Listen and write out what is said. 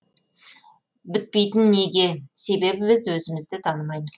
бітпейтін неге себебі біз өзімізді танымаймыз